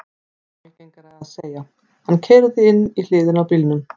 Mun algengara er að segja: Hann keyrði inn í hliðina á bílnum